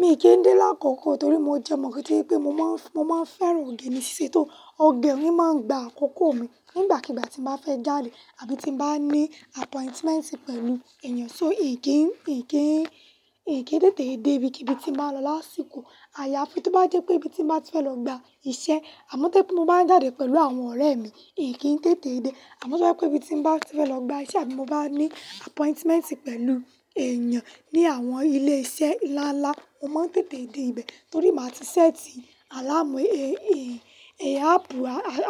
Mi kì í dé lákòókò torí mo jẹ mọ̀ kí wípé mo máa ń, mo máa ń fẹ́ràn oge mi ṣe tó. Ọ̀gẹ̀ ni máa ń gba àkókò mi nígbàkigbà tí mo bá fẹ́ jáde àbí tí bá ní appointment pẹ̀lú èèyàn. So èyí kì í, kì í, kì í tètè dé ibi kíbi tí mo bá lọ lásìkò. Àyàáfín tó bá jẹ́ pé ibi tí mo bá ti fẹ́ lọ gba iṣẹ́ àmọ́ tó pé mo bá ń jáde pẹ̀lú àwọn ọ̀rẹ́ mi, èyí kì í tètè dé. Àmọ́ tó jẹ́ pé ibi tí mo bá ti fẹ́ lọ gba iṣẹ́ àbí mo bá ní appointment pẹ̀lú èèyàn ní àwọn ilé iṣẹ́ ńlá ńlá, mo máa ń tètè dé ibẹ̀ torí màá ti séètì àláàmú, èè, èè, áápù,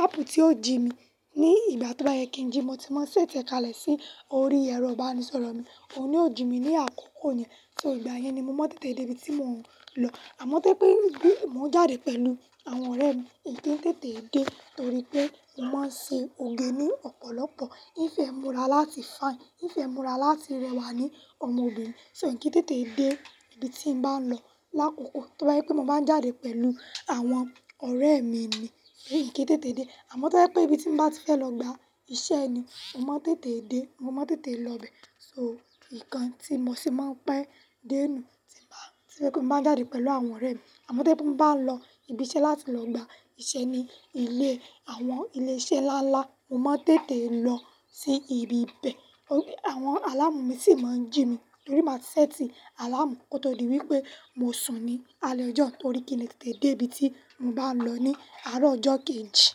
áápù tí ó jí mi. Ní ìgbà tó bá yẹ kí ń jí, mo ti máa ń séètì kalẹ̀ sí orí ẹ̀rọ ìbánisọ̀rọ̀ mi, òun ni ó jí mi ní àkókò yẹn. So ìgbà yẹn ni mo máa ń tètè dé ibi tí mo ń lọ. Àmọ́ tó pé bí mo ń jáde pẹ̀lú àwọn ọ̀rẹ́ mi, èyí kì í tètè dé torí pé mo máa ń ṣe oge ní ọ̀pọ̀lọpọ̀. Nfẹ̀ẹ́ múra láti fine, nfẹ̀ẹ́ múra láti rẹwà ni ọmọbìnrin, so n kì í tètè dé ibi tí mo bá ń lọ. Lákokò tó bá jẹ́ pé mo máa ń jáde pẹ̀lú àwọn ọ̀rẹ́ mi ni, èyí kì í tètè dé. Àmọ́ tó jẹ́ pé ibi tí mo bá ti fẹ́ lọ gba iṣẹ́ ni, mo máa ń tètè dé, mo máa ń tètè lọ ibẹ̀. So ìkan tí mo sì máa ń pẹ́ dé inú tí bá, tí mo bá fẹ́ kí mo máa jáde pẹ̀lú àwọn ọ̀rẹ́ mi. Àmọ́ tó pé bí mo bá ń lọ ibi iṣẹ́ láti lọ gba iṣẹ́ ní ilé, àwọn ilé iṣẹ́ ńlá ńlá, mo máa ń tètè lọ sí ibi bẹ̀. Àwọn àláàmú mi sì máa ń jí mi torí màá ti séètì àláàmú kó tó di wípé mo sùn ní alẹ́ ọjọ́. Torí kíni tètè dé ibi tí mo bá ń lọ ní àárọ̀ ọjọ́ kì ń jí.